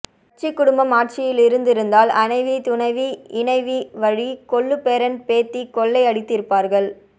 கட்டு குடும்பம் ஆட்சியில் இருந்திருந்தால் அணைவி துணைவி இணைவி வழி கொள்ளு பேரன் பேத்தி கொள்ளை அடித்திருப்பார்கள்